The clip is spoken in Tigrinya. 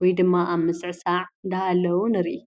ወይ ድማ ኣብ ምስዕሳዕ ናሃለዉ ንርኢ ።